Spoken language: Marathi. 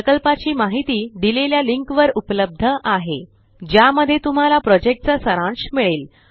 प्रकल्पाची माहिती देलेल्या लिंक वर उपलब्ध आहे ज्या मध्ये तुम्हाला प्रोजेक्टचा सारांश मिळेल